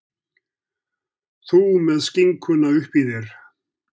Þú með skinkuna uppí þér.